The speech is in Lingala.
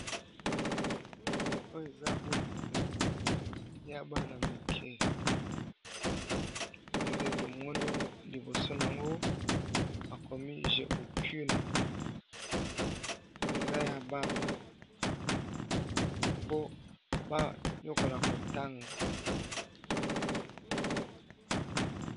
Oyo Eza buku ya Bana mike. Nde tomoni liboso nango bakomi je bouquine. Eza ya Bana Po bayokola kotanga